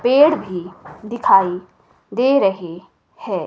पेड़ भी दिखाई दे रहे हैं।